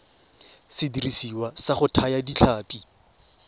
sediriswa sa go thaya ditlhapi